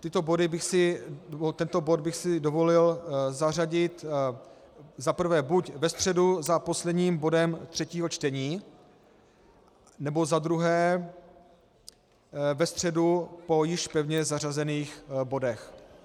Tento bod bych si dovolil zařadit za prvé buď ve středu za posledním bodem třetího čtení, nebo za druhé ve středu po již pevně zařazených bodech.